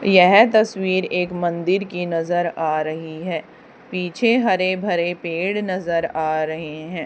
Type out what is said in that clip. यह तस्वीर एक मंदिर की नजर आ रही है पीछे हरे भरे पेड़ नजर आ रहे हैं।